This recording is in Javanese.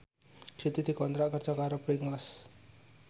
Siti dikontrak kerja karo Pringles